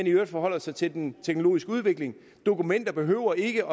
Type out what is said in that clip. i øvrigt forholder sig til den teknologiske udvikling dokumenter behøver ikke